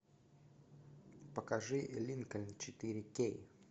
покажи линкольн четыре кей